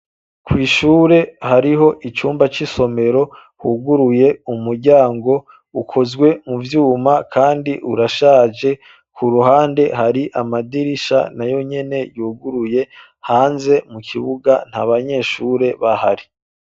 Kwishure hariho icumba c'isomero huguruye umuryango ukozwe muvyuma kandi urashaje ku ruhande hari amadirisha nayonyene yuguruye hanze mu kibuga ntabanyeshure bahari.